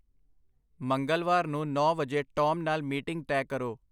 ਮੰਗਲਵਾਰ ਨੂੰ ਨੌਂ ਵਜੇ ਟੌਮ ਨਾਲ ਮੀਟਿੰਗ ਤੈਅ ਕਰੋ